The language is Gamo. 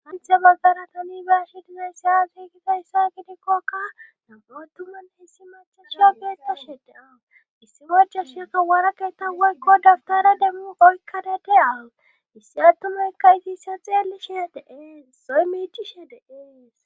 anthe baggara tanibaasi dinaysiyafiigida yssa gidikkokka nam7atuman hessi mache shula geesta shedeaissi goja shiaka waara keetta woykko dabtara demmu oykkana de a issi attumaykka itissa xeelli shiyadeeees soy miichishe deees